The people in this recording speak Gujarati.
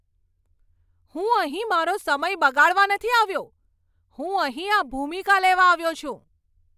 હું અહીં મારો સમય બગાડવા નથી આવ્યો! હું અહીં આ ભૂમિકા લેવા આવ્યો છું.